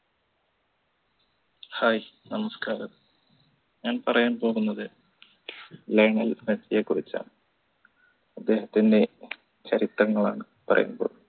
hi നമസ്കാരം ഞാൻ പറയാൻ പോകുന്നത് ലയണൽ മെസ്സിയെ കുറിച്ചാണ് അദ്ദേഹത്തിൻറെ ചരിത്രങ്ങളാണ് പറയാൻ പോകുന്നത്